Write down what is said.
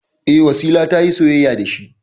E, Wasila ta yi soyayya da shi.